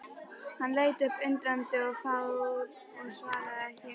Hann leit upp undrandi og fár og svaraði ekki.